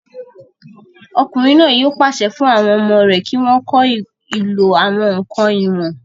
Ọkùnrin náà yóò pàṣẹ fún àwọn ọmọ rẹ̀ kí wọ́n kọ́ ìlò àwọn ǹkan ìwọ̀n